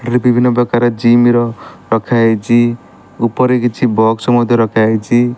ଏଠି ବିଭିନ୍ନ ପ୍ରକାର ଜିମ ର ରଖା ଯାଇଛି ଉପରେ କିଛି ବକ୍ସ ମଧ୍ୟ ରଖା ହେଇଚି ।